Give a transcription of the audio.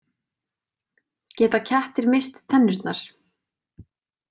Geta kettir misst tennurnar?